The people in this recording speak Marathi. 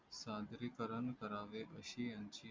सादरी कारण करावे अशी यांची